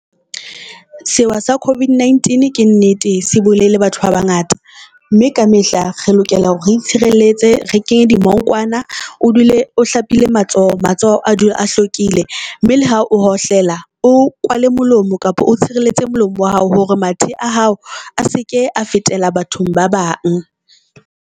Sewa sa COVID-19 ke nnete se bolaile batho ba ba ngata, mme ka mehla re lokela hore re itshireletse re kenye dimongkwana. O dule o hlapile matsoho. Matsoho a dule a hlwekile mme le ha o hohlela o kwale molomo, kapa o tshireletse molomo wa hao hore mathe a hao a seke a fetela bathong ba bang.